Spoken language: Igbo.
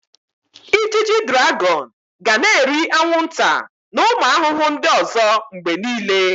Ijiji draghon ga na-eri anwụnta na ụmụ ahụhụ ndị ọzọ mgbe niile.